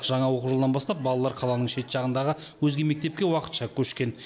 жаңа оқу жылынан бастап балалар қаланың шет жағындағы өзге мектепке уақытша көшкен